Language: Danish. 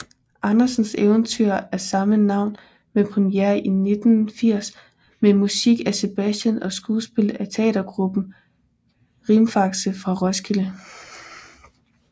Andersens eventyr af samme navn med premiere i 1980 med musik af Sebastian og skuespil af teatertruppen Rimfaxe fra Roskilde